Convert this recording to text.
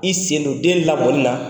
I sen don den lamɔni na,